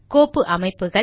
கோப்பு அமைப்புகள்